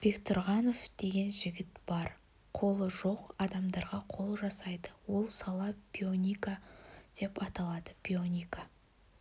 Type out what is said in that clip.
бектұрғанов деген жігіт бар қолы жоқ адамдарға қол жасайды ол сала бионика деп аталады бионика